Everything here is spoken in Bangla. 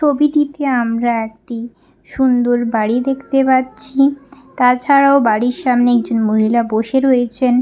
ছবিটিতে আমরা একটি সুন্দর বাড়ি দেখতে পাচ্ছি তাছাড়াও বাড়ির সামনে একজন মহিলা বসে রয়েছেন।